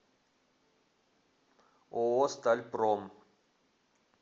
ооо стальпром